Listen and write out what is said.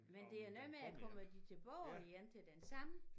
Men det er noget med at komme de tilbage igen til den samme